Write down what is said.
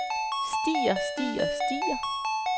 stiger stiger stiger